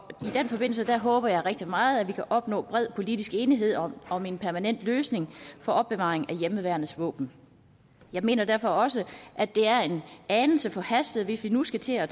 i den forbindelse håber jeg rigtig meget at vi kan opnå bred politisk enighed om om en permanent løsning for opbevaring af hjemmeværnets våben jeg mener derfor også at det er en anelse forhastet hvis vi nu skal til at